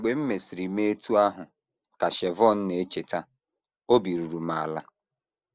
“ Mgbe m mesịrị mee otú ahụ, ” ka Shevone na - echeta, “ obi ruru m ala. ”